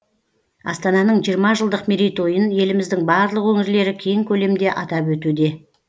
астананың жиырма жылдық мерейтойын еліміздің барлық өңірлері кең көлемде атап өтуде